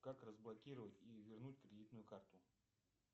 как разблокировать и вернуть кредитную карту